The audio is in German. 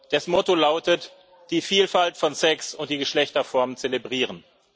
Das Motto lautet Die Vielfalt von Sex und der Geschlechterformen zelebrieren.